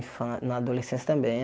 Fan na adolescência também.